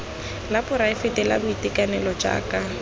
la poraefete la boitekanelo jaaka